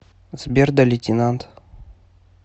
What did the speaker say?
сбер да лейтенант